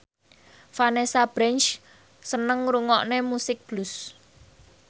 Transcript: Vanessa Branch seneng ngrungokne musik blues